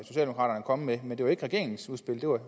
kommet med men det var ikke regeringens udspil det var